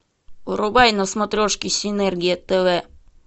врубай на смотрешке синергия тв